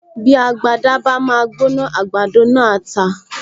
Bí agbada bá máa gbóná, àgbàdo náà á ta